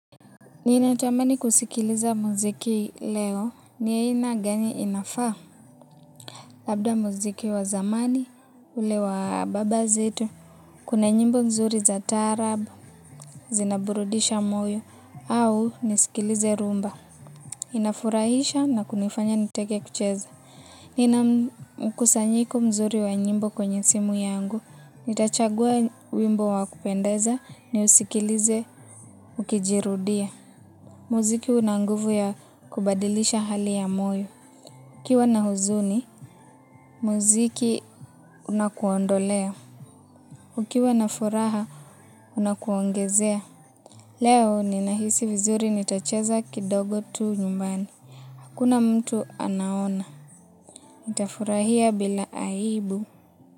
Ninatamani kusikiliza muziki leo ni ina gani inafaa labda muziki wa zamani ule wa baba zetu. Kuna nyimbo mzuri za taarabu, zinaburudisha moyo au nisikilize rumba. Inafurahisha na kunifanya nitake kucheza. Nina mkusanyiko mzuri wa nyimbo kwenye simu yangu. Nitachagua wimbo wa kupendeza niusikilize ukijirudia. Muziki una nguvu ya kubadilisha hali ya moyo. Nikiwa na huzuni, muziki unakuondolea. Ukiwa na furaha, unakuongezea. Leo, ninahisi vizuri nitacheza kidogo tu nyumbani. Hakuna mtu anaona. Nitafurahia bila aibu.